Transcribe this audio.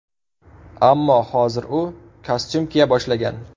Ammo hozir u kostyum kiya boshlagan.